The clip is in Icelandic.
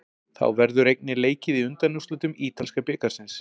Þá verður einnig leikið í undanúrslitum ítalska bikarsins.